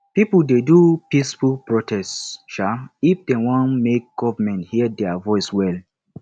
pipo dey do peaceful protest um if dem wan make government hear dia voice well